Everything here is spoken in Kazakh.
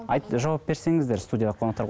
жауап берсеңіздер студиядағы қонақтар